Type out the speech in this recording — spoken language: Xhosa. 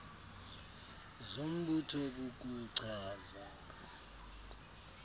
zombutho kuku chaza